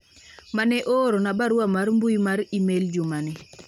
mane oorona barua mar mbui mar email juma ni